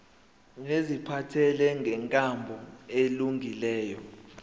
neziphathelene nenkambo elungileyo